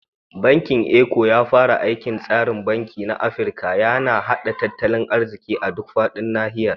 Bankin Eco, ya fara aikin tsarin banki na Afirka, yana haɗa tattalin arziƙi a duk faɗin nahiyar.